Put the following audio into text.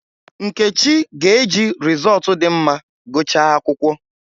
Nkechi ga-eji rịzọọtụ dị mma gụchaa akwụkwọ.